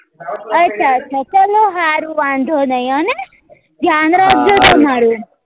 અચ્છા અચ્છા ચલો હારું વાંધો નહી હ ને ધ્યાન રાખજો તમારું